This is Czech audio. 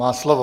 Má slovo.